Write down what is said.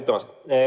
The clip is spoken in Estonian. Aitäh ütlemast!